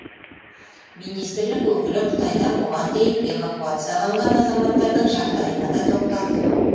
министрлік өкілі қытайдан бұған дейін эвакуацияланған азаматтардың жағдайына да тоқталды